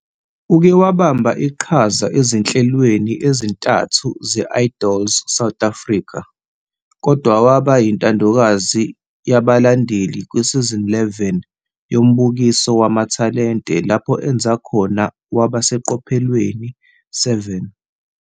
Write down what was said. Uke wabamba iqhaza ezinhlelweni ezintathu ze-Idols South Africa kodwa waba yintandokazi yabalandeli kwi-Season 11 yombukiso wamathalente lapho enza khona waba seqophelweni 7.